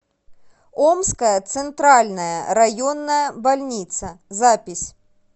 омская центральная районная больница запись